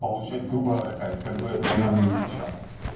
получать грубо говоря кайф как бы это банально не звучало